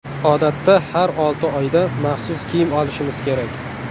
Odatda har olti oyda maxsus kiyim olishimiz kerak.